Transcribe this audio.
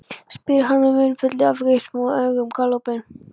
spyr hann með munnfylli af geispum en augun galopin.